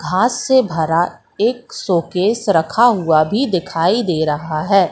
घास से भरा एक शोकेस रखा हुआ भी दिखाई दे रहा है।